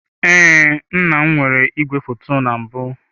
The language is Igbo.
Ee, nna m nwere igwefoto na mbụ.